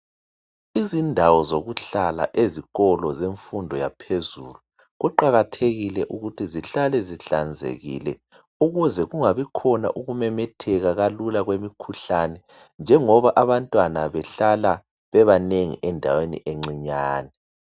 Izindawo zokuhlala ezikolo zemfundo yaphezulu, kuqakathekile ukuthi zihlale zihlanzekile ukuze kungabi khona ukumemetheka kalula kwemikhuhlane njengoba abantwana behlala bebanengi endaweni encinyane.